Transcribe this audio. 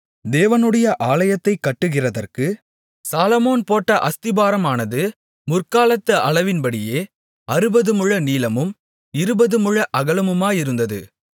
தேவனுடைய ஆலயத்தைக் கட்டுகிறதற்கு சாலொமோன் போட்ட அஸ்திபாரமானது முற்காலத்து அளவின்படியே அறுபதுமுழ நீளமும் இருபதுமுழ அகலமுமாயிருந்தது